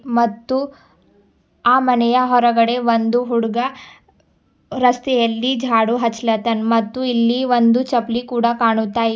ಮತ್ತು ಆ ಮನೆಯ ಹೊರಗಡೆ ಒಂದು ಹುಡ್ಗ ರಸ್ತೆಯಲ್ಲಿ ಜಾಡು ಹಚ್ಲತ್ತಾನ್ ಮತ್ತು ಇಲ್ಲಿ ಒಂದು ಚಪ್ಲಿ ಕೂಡ ಕಾಣುತ್ತಾ ಇ--